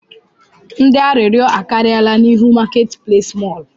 Ndị arịrịọ akarịala n'ihu marketplace mọl